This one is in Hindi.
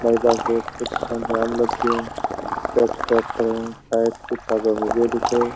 बाईपास रोड पे कितना जाम लग गया। सब --